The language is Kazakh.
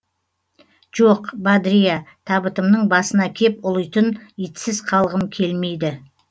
жоқ бадриа табытымның басына кеп ұлитын итсіз қалғым келмейді